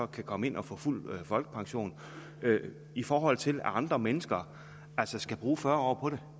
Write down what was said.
kan komme ind og få fuld folkepension i forhold til at andre mennesker altså skal bruge fyrre